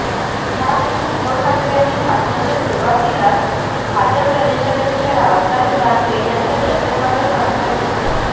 यावेळी उद्धव ठाकरे यांनी भाषणाच्या सुरुवातीलाच भाजप प्रदेशाध्यक्ष रावसाहेब दानवे यांच्या वक्तव्याचा समाचार घेतला